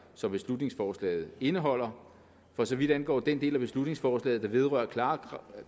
som beslutningsforslaget indeholder for så vidt angår den del af beslutningsforslaget der vedrører klare